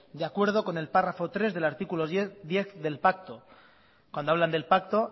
de acuerdo con el párrafo tres del artículo diez del pacto cuando hablan del pacto